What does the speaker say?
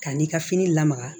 Ka n'i ka fini lamaga